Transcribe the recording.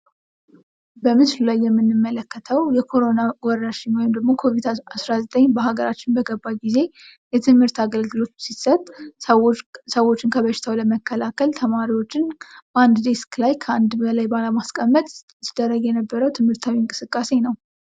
በምስሉ ላይ የምንመለከተው የኮሮና ወረርሽኝ ወይም ኮቪድ19 በሀገራችን በገባ ጊዜ የትምህርት አገልግሎት ሲሰጥ ሰዎችን ከበሽታው ለመከላከል ተማሪዎችን በአንድ ዴስክ ላይ ከአንድ በላይ ባለማስቀመጥ ሲደረግ የነበረው ትምህርታዊ እንቅስቃሴ ነው።